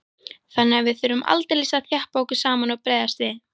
Þannig að við þurftum aldeilis að þjappa okkur saman og bregðast við.